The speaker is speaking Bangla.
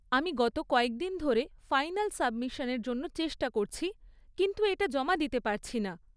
আমি গত কয়েকদিন ধরে ফাইনাল সাবমিশানের জন্য চেষ্টা করছি, কিন্তু এটা জমা দিতে পারছি না।